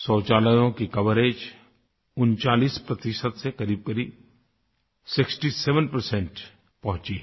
शौचालयों की कवरेज 39 से करीबकरीब 67 पहुँची हैं